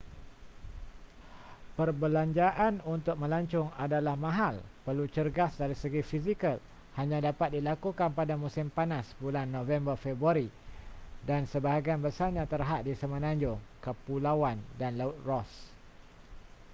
perbelanjaan untuk melancong adalah mahal perlu cergas dari segi fizikal hanya dapat dilakukan pada musim panas bulan november-februari dan sebahagian besarnya terhad di semenanjung kepulauan dan laut ross